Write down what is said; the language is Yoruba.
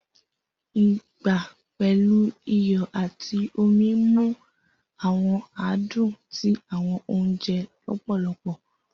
Igba pẹlu iyọ ati omi mu awọn adun ti awọn ounjẹ lọpọlọpọ.